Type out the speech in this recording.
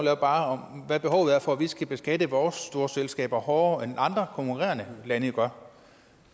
er bare hvad behovet er for at vi skal beskatte vores store selskaber hårdere end andre konkurrerende lande gør